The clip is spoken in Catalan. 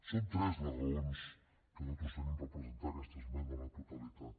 son tres les raons que nosaltres tenim per presentar aquesta esmena a la totalitat